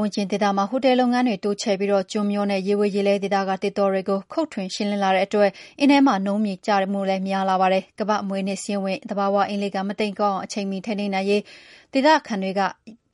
ဝန်းကျင်ဒေသမှာ ဟိုတယ်လုပ်ငန်းတွေတိုးချဲ့နေပြီး ကျွန်းမျောနဲ့ ရေဝေရေလဲဒေသက သစ်တောတွေကို ခုတ်ထွင်ရှင်းလင်းလာတဲ့အတွက် အင်းထဲမှာနုန်းပို့ချတဲ့နှုန်းလည်းတဖြည်းဖြည်း များလာပါတယ်။ ကမ္ဘာ့အမွေအနှစ်စာရင်းဝင် သဘာဝရေကန် အင်းလေးကန် မတိမ်ကောအောင် အချိန်မီထိန်းသိမ်းသင့်ပြီလို့ ဒေသခံတွေက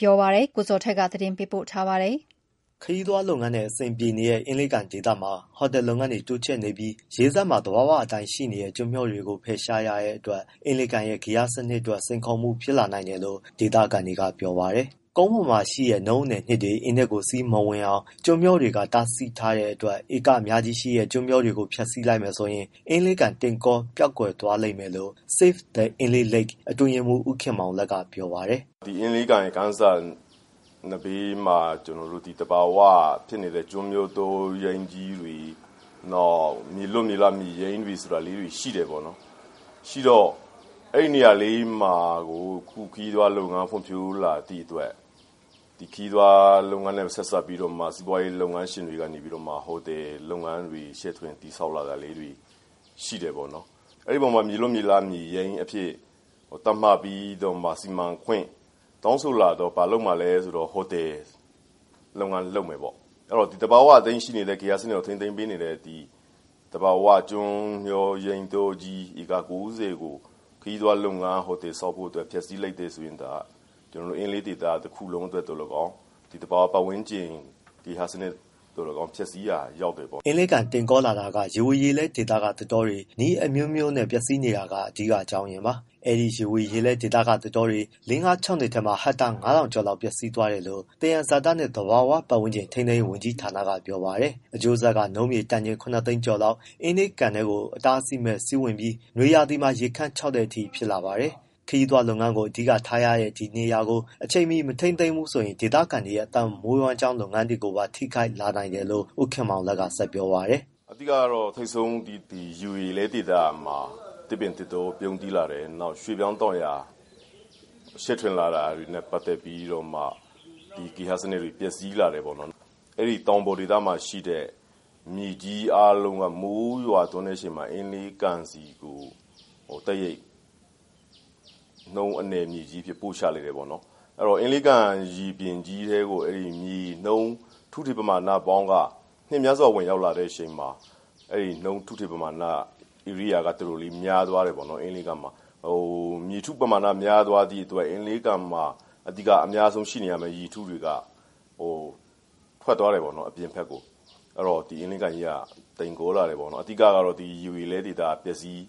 ပြောပါတယ်။ ဒီအကြောင်းကို ဗွီအိုအေ မြန်မာပိုင်းသတင်းထောက် ကိုဇော်ထက် ပေးပို့ထားပါတယ်။ ခရီးသွားလုပ်ငန်းနဲ့အဆင်ပြေနေတဲ့ အင်းလေးကန်ဒေသမှာ ဟိုတယ်လုပ်ငန်းတွေ တိုးချဲ့နေပြီး ရေစပ်မှာ သဘာဝအတိုင်း ရှိနေတဲ့ ကျွန်းမျောတွေကိုဖယ်ရှားရတဲ့အတွက် အင်းလေးရဲ့ ဂေဟစနစ်အတွက် စိန်ခေါ်မှုဖြစ်လာနိုင်တယ်လို့ ဒေသခံတွေက ပြောပါတယ်။ ကုန်းပေါ်မှာရှိတဲ့နုန်းအနည်အနှစ်တွေ အင်းထဲကိုစီးမဝင်အောင် ကျွန်းမျောတွေက တားဆီးထားတဲ့အတွက် ဧကအများကြီးရှိတဲ့ ကျွန်းမျောတွေကို ဖျက်ဆီးလိုက်မယ်ဆိုရင် အင်းလေးကန်တိမ်ကောပျောက်ကွယ်သွားလိမ့်မယ်လို့ Save the Inle Lake အတွင်းရေးမှုး ဦးခင်မောင်လတ်က ပြောပါတယ်။ “အင်းလေးကန်ရဲ့ကန်စပ်မှာ သဘာဝဖြစ်နေတဲ့ကျွန်းမျာတောရိုင်းကြီးတွေ၊ နောက်မြေလွတ် မြေရိုင်းလေးတွေဆိုတာ ရှိတယ် ပေါ့နော်။ အဲဒီနေရာလေးမှာကို အခုခရီးသွားလုပ်ငန်း ဖွံ့ဖြိုးလာသည့်အတွက် ဒီခရီးသွားလုပ်ငန်းနဲ့ ဆက်စပ်ပြီးတော့မှ စီးပွားရေးလုပ်ငန်းရှင်တွေက ဟိုတယ်လုပ်ငန်းတွေ ချဲ့ထွင်တည်ဆောက်လာတာလေးတွေ ရှိတယ်ပေါ့နော်။ မြေလွတ်မြေရိုင်း အဖြစ်သတ်မှတ်ပြီးတော့မှ စီမံခွင့်တောင်းဆိုလာတော့ ဘာလုပ်မှာလဲဆိုတော့ ဟိုတယ်လုပ်ငန်းလုပ်မယ်ပေါ့။ အဲဒီတော့ သဘာဝအတိုင်းရှိနေတဲ့ ဂေဟစနစ်ကို ထိန်းသိမ်းပေးနေတဲ့ သဘာဝကျွန်းမျောရိုင်းတောကြီး ဧကကိုးဆယ်ကို ဟိုတယ် ဆောက်ဖို့ဖျက်ဆီးလိုက်မယ်ဆိုရင်အင်းလေးဒေသ တစ်ခုလုံးအတွက်သော်လည်းကောင်း၊ သဘာဝပတ်ဝန်းကျင် ဂေဟစနစ် သော်လည်းကောင်းဖျက်ဆီးရာရောက်တယ်ပေါ့။” အင်းလေးကန် တိမ်ကောလာတာက ရေဝေရေလဲဒေသကသစ်တောတွေ နည်းအမျိုးမျိုးနဲ့ ပျက်ဆီးနေတာက အဓိက အကြောင်းရင်းပါ။ အဲဒီရေဝေရေလဲဒေသကသစ်တောတွေ လေးငါးခြောက်နှစ်ထဲမှာ ဟက်တာ ၅၀၀၀ ကျော်လောက် ပျက်စီးသွားတယ်လို့ သယံဇာတနဲ့သဘာဝပတ်ဝန်းကျင် ထိန်းသိမ်းရေးဝန်ကြီးဌာကပြောပါတယ်။ အကျိုးဆက်က နုန်းမြေတန်ချိန် ၇သိန်းကျော်လောက် အင်းလေးကန်ထဲကို အတားအဆီးမဲ့စီးဝင်ပြီး နွေရာသီမှာ ရေခမ်းခြောက်တဲ့အထိ ဖြစ်လာပါတယ်။ ခရီးသွားလုပ်ငန်းကိုအဓိကထားရတဲ့ ဒီနေရာကို အချိန်မီမထိန်းသိမ်းဘူးဆိုရင် ဒေခံတွေရဲ့ အသက်မွေးဝမ်းကြောင်း လုပ်ငန်းတွေကိုပါ ထိခိုက်လာနိုင်တယ်လို့ ဦးခင်မောင်လတ် က ဆက်ပြောပါတယ်။ “အဓိကတော့ ထိပ်ဆုံး ဒီရေဝေရေလဲဒေသမှာ သစ်ပင် သစ်တောပြုန်းတီးလာတယ်။ ရွှေ့ပြောင်းတောင်ယာ ချဲ့ထွင်လာတာ တွေနဲ့ပတ်သတ်ပြီးတော့မှ ဒီဂေဟစနစ်တွေ ပျက်စီးလာတယ်ပေါ့နော်။ အဲဒီတောင်ပေါ်ဒေသမှာရှိတဲ့ မြေကြီးအားလုံးက မိုးရွာသွန်းတဲ့အခါမှာ အင်းလေးကန်ဆီကို တိုက်ရိုက်နုန်းအနည် မြေကြီးအဖြစ်ပို့ချလိုက်တယ်ပေါ့နော် အဲဒီတော့ အင်လေးကန် ရေပြင်ကြီးထဲကို အဲဒီမြေနုန်း ထုထည်ပမာဏပေါင်းက နှစ်များစွာ ဝင်ရောက်လာတဲ့အခါမှာ အဲဒီနုန်း ထုထည် ပမာဏက ဧရိယာကတော်တော်လေး မျာသွားတယ်ပေါ့။ မြေထုပမာဏ မျာသွားသည့်အတွက် အင်းလေးကန်မှာအများဆုံး ရှိနေရမယ့်ရေထုတွေက ဟို ထွက်သွားတယ်ပေါ့ အပြင်ဘက်ကို အဲဒီတော့ ဒီ အင်းလေးကန်ကြီးက တိမ်ကောလာတယ်ပေါ့။ အဓိကတော့ ဒီရေဝေရေလဲဒေသပျက်စီး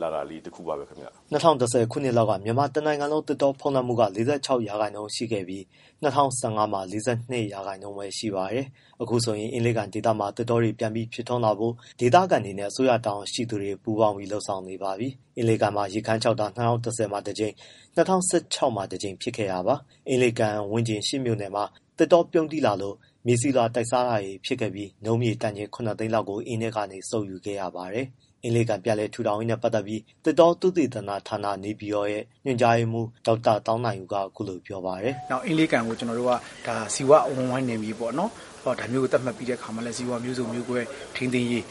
လာတာလေး တစ်ခုပါပဲဗျ။” ၂၀၁၀ ခုနှစ်လောက်က မြန်မာတစ်နိုင်ငံလုံး သစ်တောဖုံးလွှမ်းမှုက ၄၆ရာခိုင်နှုန်းရှိခဲ့ပြီး ၂၀၁၅မှာ ၄၂ ရာခိုင်နှုန်းပဲ ရှိပါတယ်။ အခုဆိုရင် အင်းလေးကန်ဒေသမှာ သစ်တောတွေပြန်ပြီးဖြစ်ထွန်းလာဖို့ ဒေသခံတွေနဲ့ အစိုးရတာဝန်ရှိသူတွေ ပူးပေါင်းပြီးလုပ်ဆောင်နေပါပြီ။ အင်းလေးကန်မှာ ရေခမ်းခြောက်တာ၂၀၁၀မှာတစ်ကြိမ်၊ ၂၀၁၆ မှာတစ်ကြိမ် ဖြစ်ခဲ့တာပါ။ အင်းပတ်ဝန်းကျင် ရှစ်မြို့နယ်မှာ သစ်တောပြုန်းတီးလာလို့ မြေဆီလွှာတိုက်စားတာတွေဖြစ်ခဲ့ပြီး နုန်းမြေတန်ချိန် ၇သိန်း လောက်ကို အင်းထဲကနေစုပ်ယူခဲ့ရပါတယ်။ အင်းလေးကန်ပြန်လည်ထူထောင်ရေးနဲ့ပတ်သတ်ပြီး သစ်တောသုတေသနဌာန ရဲ့ ညွှန်ကြားရေးမှုး ဒေါက်တာသောင်းနိုင်ဦးက အခုလိုပြောပါတယ်။ “အင်းလေးကန်ကို ကျွန်တော်တို့က ဇီဝ အဝန်းအဝိုင်းနယ်မြေပေါ့နော်။ ဒါမျိုးကိုသတ်မှတ်ပြီးတဲ့အခါမှာလည်း ဇီဝမျိုးစုံမျိုးကွဲ ထိန်းသိမ်းရေး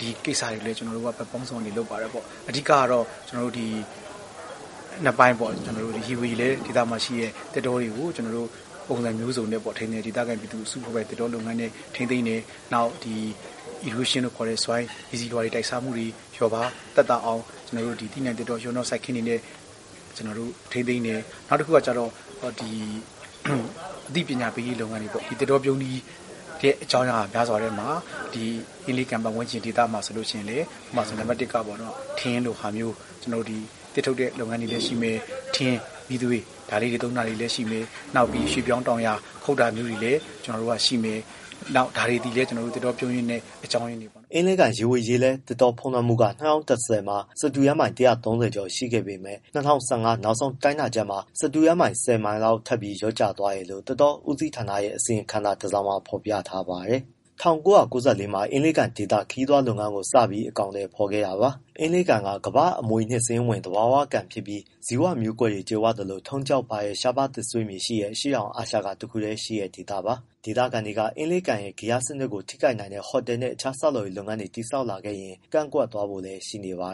ဒီကိစ္စတွေအတွက် ကျွန်တော်တို့ကဘက်ပေါင်းစုံကနေလုပ်ပါတယ်။ အဓိကတော့ ကျွန်တော်တို့က နှစ်ပိုင်းပေါ့ ရေဝေရေလဲဒေသမှာရှိတဲ့ သစ်တောတွေကို ကျွန်တော်တို့က ပုံစံမျိုးစုံနဲ့ ဒေသခံအစုအဖွဲ့ပိုင်သစ်တောနဲ့ထိန်းသိမ်းတယ်။ နောက်ဒီ erosion လို့ခေါ်တဲ့မြေဆီလွှာတွေ တိုက်စားမှုတွေ လျော့ပါးသက်သာအောင် သီးနှံ့ သစ်တောရောနှောစိုက်ပျိုးတဲ့ စိုက်ခင်းတွေနဲ့ ကျွန်တော်တို့ ထိန်းသိမ်းတယ်။ နောက်တစ်ခုက အသိပညာပေးရေးလုပ်ငန်းတွေပေါ့ သစ်တောပြုန်းတီးတဲ့ အကြောင်းအရာများစွာထဲမှာ အင်းလေးကန်ပတ်ဝန်းကျင်ဒေသမှာဆိုရင်လည်း နံပတ်တစ်က ထင်းလိုဟာမျိုး ကျွန်တော်တို့ သစ်ထုတ်တဲ့ လုပ်ငန်းတွေလည်းရှိမယ်။ ထင်း၊ မီးသွေး ဒါလေးတွေသုံးတာလည်းရှိမယ်။ နောက်ပြီးရွှေ့ပြောင်းတောင်ယာ ခုတ်တာမျိုးတွေလည်းရှိမယ်။ ဒါတွေလည်း သစ်တောပြုန်းတီးတဲ့အကြောင်းအရင်းတွေပေါ့။” အင်းလေးကန်ရေဝေရေလဲ သစ်တောဖုံးလွှမ်းမှုက ၂၀၁၀မှာ စတုရန်းမိုင် ၁၃၀ ကျော်ရှိခဲ့ပေမဲ့ ၂၀၁၅ နောက်ဆုံးတိုင်းတာချက် မှာ စတုရန်းမိုင် ၁၀မိုင်လောက်ထပ်ပြီးလျော့ကျသွားတယ်လို့ သစ်တောဦးစီးဌာနရဲ့ အစီရင်ခံစာတစ်စောင်မှာ ဖော်ပြထား ပါတယ်။ ၁၉၉၄ မှာ အင်းလေးကန်ဒေသ ခရီးသွားလုပ်ငန်းကိုစပြီး အကောင်အထည်ဖော်ခဲ့တာပါ။ အင်းလေးကန်က ကမ္ဘာ့အမွေအနှစ် စာရင်းဝင် သဘာဝကန်ဖြစ်ပြီး ဇီဝမျိုးကွဲတွေကြွယ်ဝသလို ထုံးကျောက်ပါတဲ့ ရှားပါး သစ်ဆွေးမြေရှိတဲ့ အရှေ့တောင်အာရှက တစ်ခုတည်းရှိတဲ့ဒေသပါ။ ဒေသခံတွေက အင်းလေးရဲ့ဂေဟစနစ်ကို ထိခိုက်နိုင်တဲ့ ဟိုတယ်နဲ့ အခြားဆောက်လုပ်ရေး လုပ်ငန်းတွေတည်ဆောက်လာခဲ့ရင် ကန့်ကွက်ဖို့လည်း ရှိနေပါ